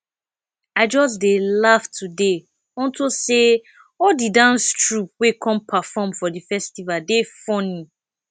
i just dey laugh today unto say all the dance troupe wey come perform for the festival dey funny